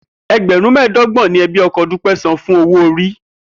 E̩gbè̩rún mé̩è̩dó̩gbò̩n ni e̩bí o̩ko̩ Dúpé̩ san fún owó-orí